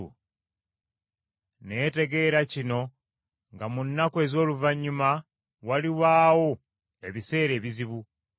Naye tegeera kino nga mu nnaku ez’oluvannyuma walibaawo ebiseera ebizibu.